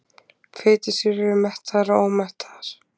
Fitusýrur eru mettaðar og ómettaðar.